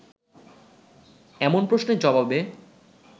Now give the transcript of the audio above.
এমন প্রশ্নের জবাবে